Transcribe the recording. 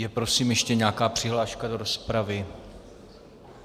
Je prosím ještě nějaká přihláška do rozpravy?